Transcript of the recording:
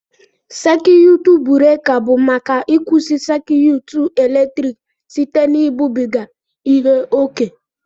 sékiyụtụ buréka bụ maka ịkwụsị sékiyụtụ eletrik site na ibubiga ihe ókè